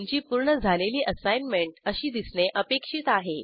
तुमची पूर्ण झालेली असाईनमेंट अशी दिसणे अपेक्षित आहे